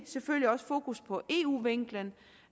selvfølgelig også fokus på eu vinklen